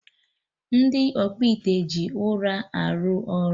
Ndị ọkpụite ji ụrọ arụ ọrụ